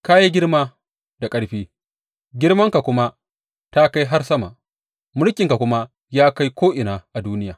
Ka yi girma da ƙarfi; girmanka kuma ta kai har sama, mulkinka kuma ya kai ko’ina a duniya.